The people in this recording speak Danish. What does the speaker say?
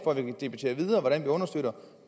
for